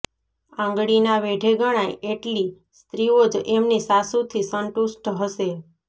આંગળીનાં વેઢે ગણાય એટલી સ્ત્રીઓ જ એમની સાસુથી સંતુષ્ટ હશે